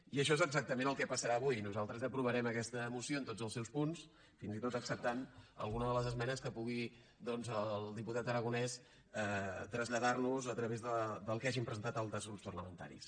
i això és exactament el que passarà avui nosaltres aprovarem aquesta moció en tots els seus punts fins i tot acceptant alguna de les esmenes que pugui doncs el diputat aragonès traslladar nos a través del que hagin presentat altres grups parlamentaris